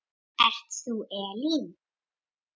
Ert þú Elín?